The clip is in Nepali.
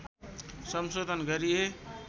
संशोधन गरिए